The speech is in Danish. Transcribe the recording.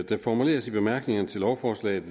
det formuleres i bemærkningerne til lovforslaget at